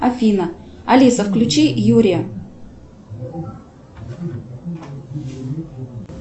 афина алиса включи юрия